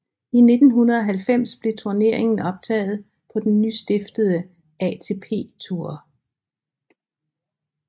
I 1990 blev turneringen optaget på den nystiftede ATP Tour